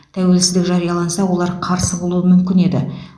тәуелсіздік жарияланса олар қарсы болуы мүмкін еді